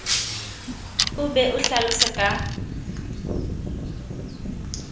o be o hlalose ka